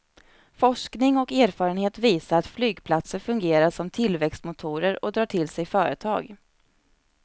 Forskning och erfarenhet visar att flygplatser fungerar som tillväxtmotorer och drar till sig företag.